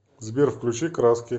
сбер включи краски